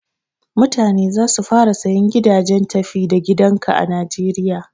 Mutane za su fara sayan gidajen tafi da gidan ka a najeriya.